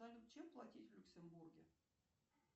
салют чем платить в люксембурге